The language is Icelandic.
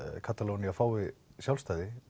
Katalónía fengi sjálfstæði